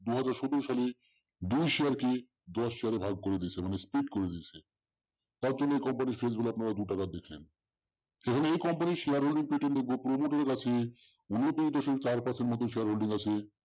দুহাজার সতেরো সালে দুই share কে দশ share এ ভাগ করে দিয়েছে মানে split করে দিয়েছে। তার জন্য company র গুলো আপনারা দুটাকা দিচ্ছেন। এই জন্য এই company র share holding কাছে উনত্রিশ দশমিক চার percent মতো share holding আছে